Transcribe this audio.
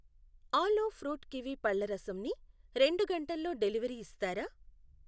ఆలో fruit kiwi పళ్ల రసం ని రెండు గంటల్లో డెలివరీ ఇస్తారా?